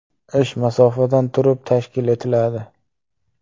Ish masofadan turib tashkil etiladi.